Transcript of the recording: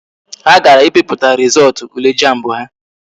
Ha gara i piputa rizootu ule jamb ha